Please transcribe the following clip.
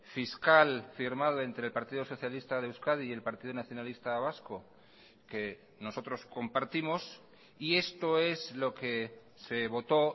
fiscal firmado entre el partido socialista de euskadi y el partido nacionalista vasco que nosotros compartimos y esto es lo que se votó